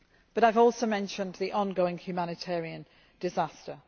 I have also mentioned the ongoing humanitarian disaster.